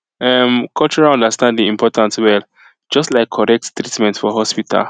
um cultural understanding important well just like correct treatment for hospital